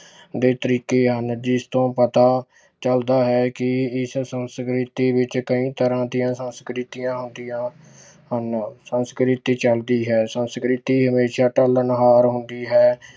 ਦੇ ਤਰੀਕੇ ਹਨ ਜਿਸ ਤੋਂ ਪਤਾ ਚੱਲਦਾ ਹੈ ਕਿ ਇਸ ਸੰਸਕ੍ਰਿਤੀ ਵਿੱਚ ਕਈ ਤਰ੍ਹਾਂ ਦੀਆਂ ਸੰਸਕ੍ਰਿਤੀਆਂ ਆਉਂਦੀਆਂ ਹਨ, ਸੰਸਕ੍ਰਿਤੀ ਚੱਲਦੀ ਹੈ ਸੰਸਕ੍ਰਿਤੀ ਹਮੇਸ਼ਾ ਢਲਣਹਾਰ ਹੁੰਦੀ ਹੈ।